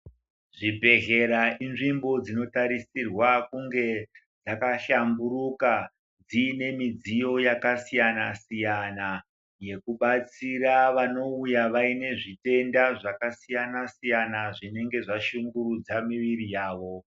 Zvibhedhlera inzvimbo dzinotarisirwa kunge dzakashamburuka dzine midziyo yakasiyana siyana yekubatsira vanouya vaine zvitenda zvakasiyana siyana zvinenge zvashungurudza miviri yavo.